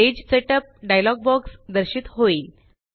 page setup dialog box दर्शित होईल